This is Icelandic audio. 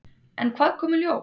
En hvað kom í ljós?